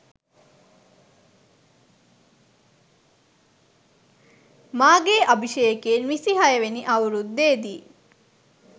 මාගේ අභිෂේකයෙන් විසිහයවැනි අවුරුද්දේ දී